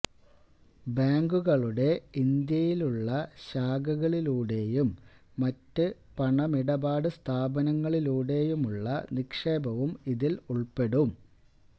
ബാങ്കുകളുടെ ഇന്ത്യയിലുള്ള ശാഖകളിലൂടെയും മറ്റ് പണമിടപാട് സ്ഥാപനങ്ങളിലൂടെയുമുള്ള നിക്ഷേപവും ഇതിൽ ഉൾപ്പെടും